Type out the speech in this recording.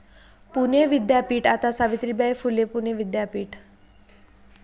पुणे विद्यापीठ आता सावित्रीबाई फुले पुणे विद्यापीठ!